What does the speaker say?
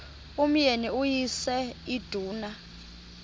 umyeni uyise iduna